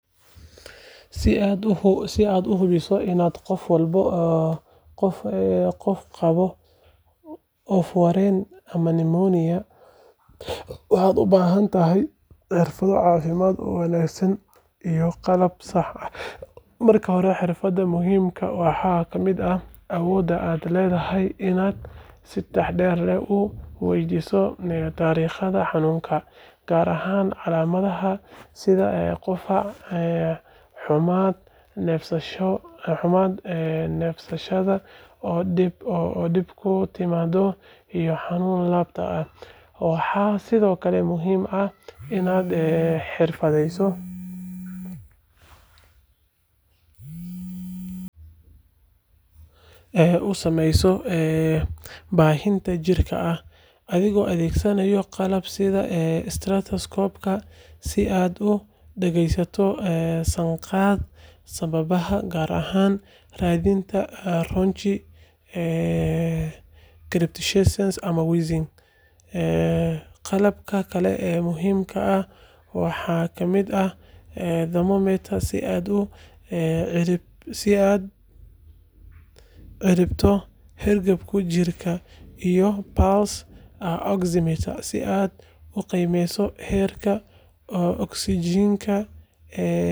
Si aad u hubiso in qof qabo oof-wareen ama pneumonia, waxaad u baahan tahay xirfado caafimaad oo wanaagsan iyo qalab sax ah. Marka hore, xirfadaha muhiimka ah waxaa ka mid ah awoodda aad u leedahay inaad si taxadar leh u weydiiso taariikhda xanuunka, gaar ahaan calaamadaha sida qufac, xummad, neefsashada oo dhib ku timaada, iyo xanuun laabta ah. Waxaa sidoo kale muhiim ah inaad si xirfadeysan u samayso baadhitaan jirka ah, adigoo adeegsanaya qalab sida istethoscope-ka si aad u dhagaysto sanqadha sambabada, gaar ahaan raadinta rhonchi, crepitations ama wheezing. Qalabka kale ee muhiimka ah waxaa ka mid ah thermometer si aad u cabirto heerkulka jirka, iyo pulse oximeter si aad u qiimeyso heerka ogsajiinta ee dhiigga.